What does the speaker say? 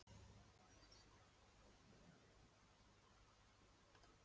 Jóhann: Eru íslenskir bifhjólamenn góðir ökumenn?